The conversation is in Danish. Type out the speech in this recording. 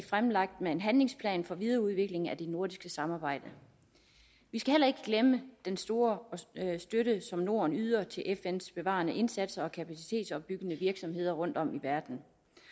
fremlagt en handlingsplan for videreudvikling af det nordiske samarbejde vi skal heller ikke glemme den store støtte som norden yder til fns bevarende indsatser og kapacitetsopbyggende virksomheder rundtom i verden